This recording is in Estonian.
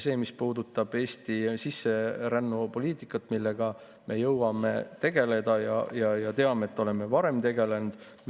Sellega, mis puudutab Eesti sisserännupoliitikat, me jõuame tegeleda ja oleme varem tegelenud.